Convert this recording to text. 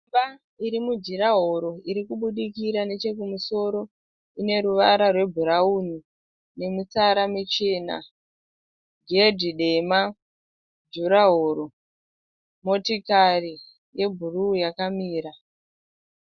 Imba iri mujuraworo iri kubudikira nechekumusoro . Ine ruvara rwebhurauni nemitsara michena ghedhi dema juraworo motikari yebhuruu yakamira